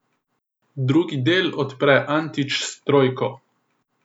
Drugi del odpre Antić s trojko.